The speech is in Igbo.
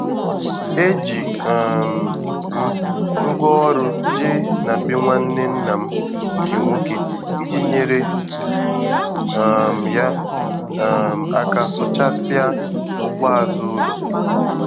E ji um m ngwaọrụ jee na be nwanne nna m nke nwoke iji nyere um ya um aka sụchasịa ugbo azụ ụlọ.